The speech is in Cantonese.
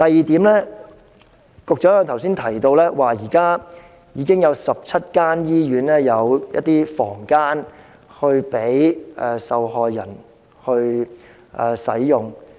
此外，局長剛才亦提到，現時已有17間醫院提供房間供受害人使用。